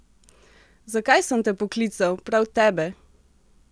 Zakaj sem te poklical, prav tebe?